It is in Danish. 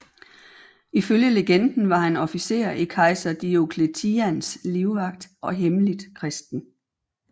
Ifølge legenden var han officer i kejser Diocletians livvagt og hemmeligt kristen